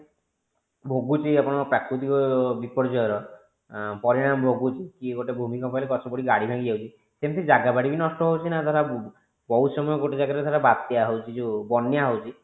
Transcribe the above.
ପାଣି ଯାଇ ଯାଇ କି ଗୋଟେ ଜାଗା ସେଟା ଧୋଇ ହେଇଯାଉଛି ନଷ୍ଟ ହେଇ ଯାଉଛି ସେ ଜାଗା ଟା ଭୋଗୁଛି ଆପଣଙ୍କ ପ୍ରାକୃତିକ ବିପର୍ଜୟର ପରିଣାମ ଭୋଗୁଛି କି ଗୋଟେ ଭୂମି କମ୍ପାରେ ଗଛ ପଡି ଭାଙ୍ଗି ଯାଉଛି ସେମିତି ଜାଗା ବାଡି ବି ନଷ୍ଟ ହୋଉଛି ନା ଧର ବହୁତ ସମୟ ଗୋଟେ ଜାଗାରେ ଧର ବାତ୍ୟା ହୋଉଛି ଯଉ ବନ୍ୟା ହୋଉଛି